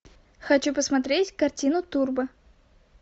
хочу посмотреть картину турбо